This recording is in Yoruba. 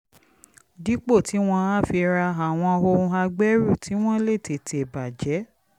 dípò tí wọ́n á fi ra àwọn ohun agbẹ́rù tí wọ́n lè tètè bà jẹ́